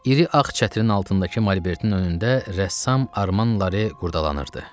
İri ağ çətirin altındakı malbertin önündə rəssam Arman Lare qurdalanırdı.